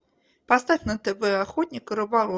поставь на тв охотник и рыболов